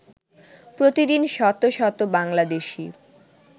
প্রতিদিন শত শত বাংলাদেশী